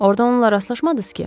Orda onunla rastlaşmadınız ki?